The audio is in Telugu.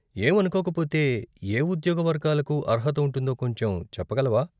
ఏమనుకోకపోతే, ఏ ఉద్యోగ వర్గాలకు అర్హత ఉంటుందో కొంచెం చెప్పగలవా?